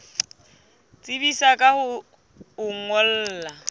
tsebisa ka ho o ngolla